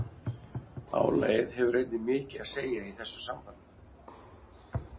Álagið hefur einnig mikið að segja í þessu sambandi.